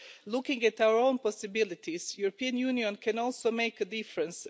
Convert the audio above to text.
Looking at our own possibilities, the European Union can also make a difference.